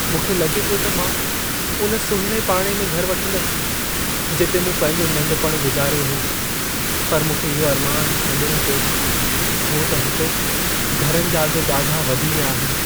मूंखे लॻे पियो त मां उन सुहिणे पाड़े में घर वठंदसि, जिते मूं पंहिंजो नंढपण गुज़ारियो हो। पर मूंखे इहो अरमान छडि॒णो पियो, छो त उते घरनि जा अघि ॾाढा वधी विया आहिनि।